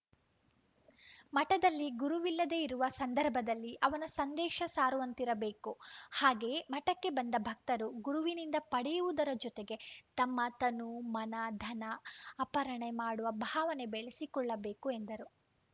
ಮಠದಲ್ಲಿ ಗುರುವಿಲ್ಲದೇ ಇರುವ ಸಂದಭರ್‍ದಲ್ಲಿ ಅವನ ಸಂದೇಶ ಸಾರುವಂತಿರಬೇಕು ಹಾಗೆಯೇ ಮಠಕ್ಕೆ ಬಂದ ಭಕ್ತರು ಗುರುವಿನಿಂದ ಪಡೆಯುವುದರ ಜೊತೆಗೆ ತಮ್ಮ ತನು ಮನ ಧನ ಅಪರ್‍ಣೆ ಮಾಡುವ ಭಾವನೆ ಬೆಳಸಿಕೊಳ್ಳಬೇಕು ಎಂದರು